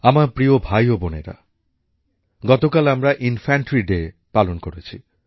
আমার প্রিয় ভাই ও বোনেরা গতকাল আমরা ইনফ্যানট্রি ডে পালন করেছি